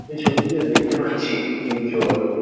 এই ছবিটিতে দেখতে পাচ্ছি একটি জল --